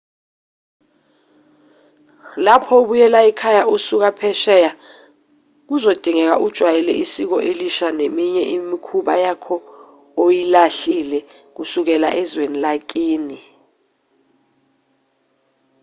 lapho ubuyela ekhaya usuka phesheya kuzodingeka ujwayele isiko elisha neminye yemikhuba yakho oyilahlile kusukela ezweni lakini